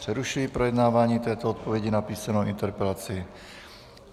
Přerušuji projednávání této odpovědi na písemnou interpelaci.